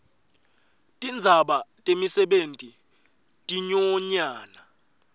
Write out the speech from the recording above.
tindzaba temisebenti tinyonyana